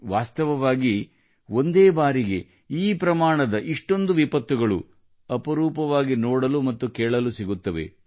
ವಾಸ್ತವವಾಗಿ ಒಂದೇ ಬಾರಿಗೆ ಈ ಪ್ರಮಾಣದ ವಿಪತ್ತುಗಳು ಅಪರೂಪವಾಗಿ ನೋಡಲು ಮತ್ತು ಕೇಳಲು ಸಿಗುತ್ತವೆ